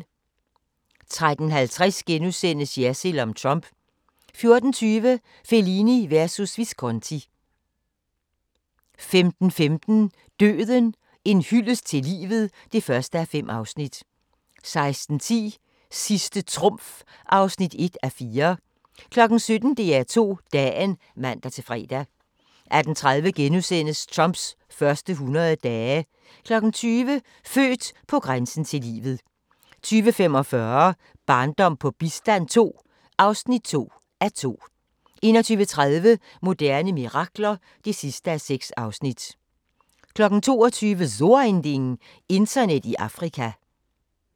13:50: Jersild om Trump * 14:20: Fellini versus Visconti 15:15: Døden - en hyldest til livet (1:5) 16:10: Sidste trumf (1:4) 17:00: DR2 Dagen (man-fre) 18:30: Trumps første 100 dage * 20:00: Født på grænsen til livet 20:45: Barndom på bistand II (2:2) 21:30: Moderne mirakler (6:6) 22:00: So ein Ding: Internet i Afrika